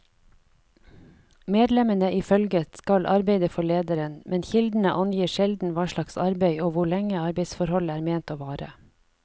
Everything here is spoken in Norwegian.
Medlemmene i følget skal arbeide for lederen, men kildene angir sjelden hva slags arbeid og hvor lenge arbeidsforholdet er ment å vare.